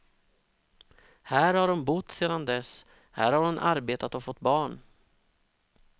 Här har hon bott sedan dess, här har hon arbetat och fått barn.